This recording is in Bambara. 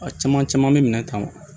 A caman caman bɛ minɛn kan